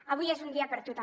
avui és un dia per a tu també